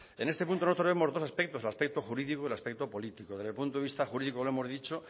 en este punto nosotros vemos dos aspectos el aspecto jurídico y el aspecto político desde el punto de vista jurídico lo hemos dicho